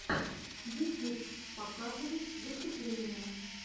ютюб показывай выступления